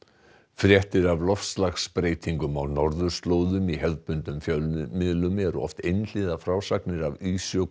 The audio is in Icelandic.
fréttir af loftslagsbreytingum á norðurslóðum í hefðbundnum fjölmiðlum eru oft einhliða frásagnir af